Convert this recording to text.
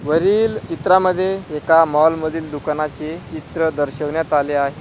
वरील चित्रामध्ये एका मॉल मधील दुकानाची चित्र दर्शविण्यात आले आहे.